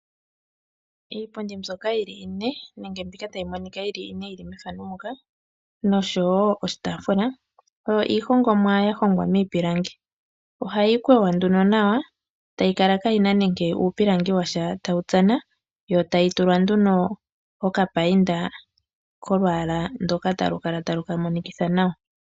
Iipundi mbyoka yili ine nenge mbika tayi monika yili ine yili methano ndika nosho wo oshitaafula, oyo iihongomwa yahongwa miipilangi. Ohayi kwewa nduno nawa etayi kala kaayina nenge uupilangi washa tawutsana, yo tayi tulwa nduno okapayinda kolwaala ndoka talukala taluka monikitha nawa.